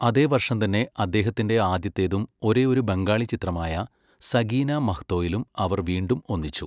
അതേ വർഷം തന്നെ അദ്ദേഹത്തിന്റെ ആദ്യത്തേതും ഒരേഒരു ബംഗാളി ചിത്രമായ 'സഗീനാ മഹ്തോ' യിലും അവർ വീണ്ടും ഒന്നിച്ചു.